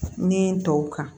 Ne ye n tɔw kan